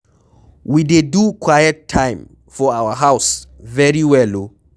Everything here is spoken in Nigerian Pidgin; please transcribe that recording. We dey do quiet time for our house very well oo.